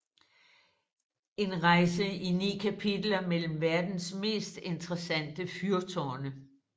En rejse i 9 kapitler mellem verdens mest interessante fyrtårne